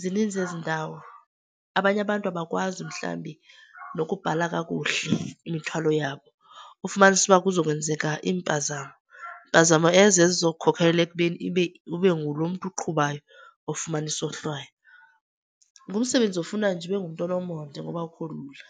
zininzi ezindawo. Abanye abantu abakwazi mhlambi nokubhala kakuhle imithwalo yabo, ufumanise uba kuzakwenzeka iimpzamo. Mpazamo ezo ezizokukhokhelela ekubeni ibe, ube ngulo mntu uqhubayo ofumana isohlwayo. Ngumsebenzi ofuna nje ube ngumntu onomonde ngoba akukho lula.